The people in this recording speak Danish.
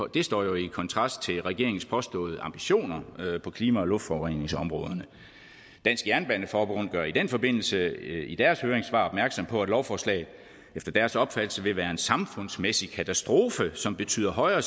det står jo i kontrast til regeringens påståede ambitioner på klima og luftforureningsområderne dansk jernbaneforbund gør i den forbindelse i deres høringssvar opmærksom på at lovforslaget efter deres opfattelse vil være en samfundsmæssig katastrofe som betyder højere